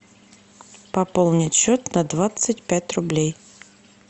пополнить счет на двадцать пять рублей